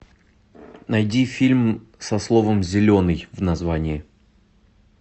найди фильм со словом зеленый в названии